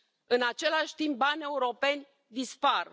În același timp, bani europeni dispar.